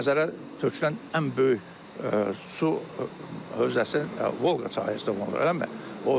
Xəzərə tökülən ən böyük su hövzəsi Volqa çayıdır, eləmi?